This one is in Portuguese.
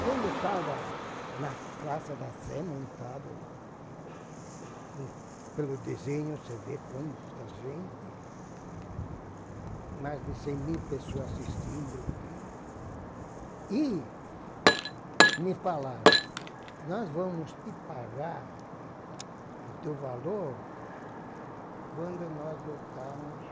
Quando eu estava na Praça da Sé, montada lá, pelo desenho você vê quanta gente, mais de cem mil pessoas assistindo e ouvindo, e me falaram, nós vamos te pagar o teu valor quando nós voltarmos